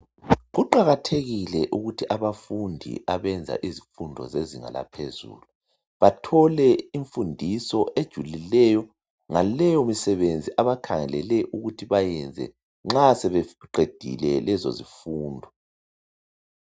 Kuqakathekile ukuthi abafundi abenza izifundo zezinga laphezulu bathole imfundiso ejulileyo ngaleyo misebenzi akhangelele ukuthi bayenze nxa sebeqedile lezo zifundo